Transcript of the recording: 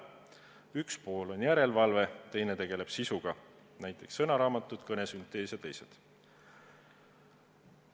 Üks pool tegeleb järelevalve, teine sisuga, näiteks sõnaraamatud, kõnesüntees jms.